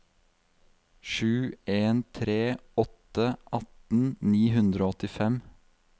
sju en tre åtte atten ni hundre og åttifem